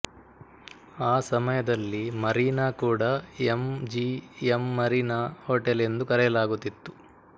ಆ ಸಮಯದಲ್ಲಿ ಮರೀನಾ ಕೂಡ ಎಂ ಜಿ ಎಂಮರೀನಾ ಹೋಟೆಲ್ ಎಂದು ಕರೆಯಲಾಗುತ್ತಿತ್ತು